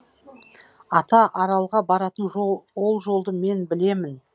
ата аралға баратын ол жолды мен білемін